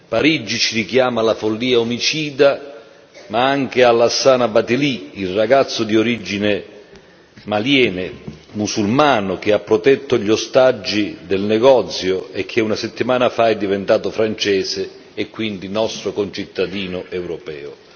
Parigi ci richiama alla follia omicida ma anche a Lassana Bathily, il ragazzo musulmano, di origine maliane, che ha protetto gli ostaggi del negozio e che una settima fa è diventato francese e quindi nostro concittadino europeo.